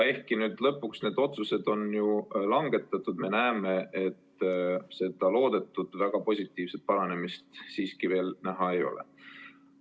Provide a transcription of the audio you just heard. Ehkki nüüd lõpuks on need otsused langetatud, me näeme, et loodetud väga positiivset paranemist siiski veel ei paista.